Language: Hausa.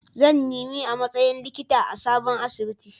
Zan nemi a matsayin likita a sabon asibiti.